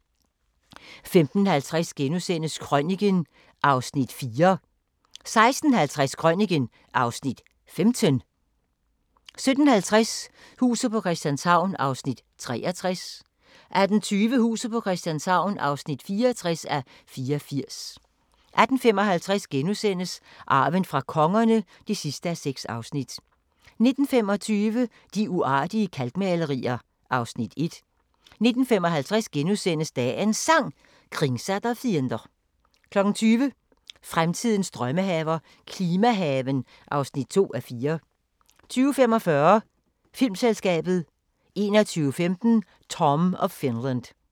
15:50: Krøniken (Afs. 4)* 16:50: Krøniken (Afs. 15) 17:50: Huset på Christianshavn (63:84) 18:20: Huset på Christianshavn (64:84) 18:55: Arven fra kongerne (6:6)* 19:25: De uartige kalkmalerier (Afs. 1) 19:55: Dagens Sang: Kringsatt av fiender * 20:00: Fremtidens drømmehaver – klimahaven (2:4) 20:45: Filmselskabet 21:15: Tom of Finland